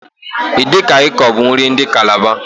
Edi kan ikong bu nri ndi Kalaba.